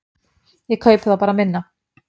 Ég kaupi þá bara minna.